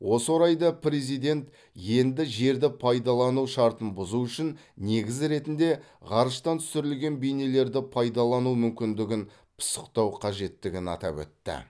осы орайда президент енді жерді пайдалану шартын бұзу үшін негіз ретінде ғарыштан түсірілген бейнелерді пайдалану мүмкіндігін пысықтау қажеттігін атап өтті